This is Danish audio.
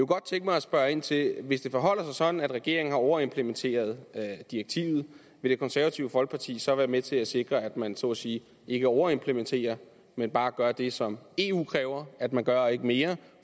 godt tænke mig at spørge ind til hvis det forholder sig sådan at regeringen har overimplementeret direktivet vil det konservative folkeparti så være med til at sikre at man så at sige ikke overimplementerer det men bare gør det som eu kræver at man gør og ikke mere